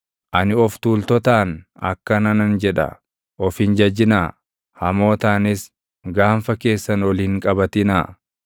Ani of tuultotaan akkana nan jedha; ‘Of hin jajinaa.’ Hamootaanis, ‘Gaanfa keessan ol hin qabatinaa.